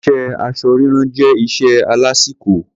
Iṣé aṣọ rírán jẹ́ iṣẹ́ alásìkò.